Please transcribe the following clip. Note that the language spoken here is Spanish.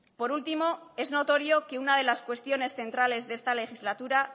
por último es notorio que una de las cuestiones centrales de esta legislatura